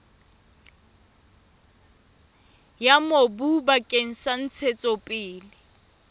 ya mobu bakeng sa ntshetsopele